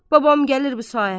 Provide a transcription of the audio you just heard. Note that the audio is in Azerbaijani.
Babam gəlir bu saat.